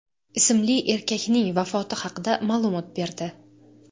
ismli erkakning vafoti haqida ma’lumot berdi .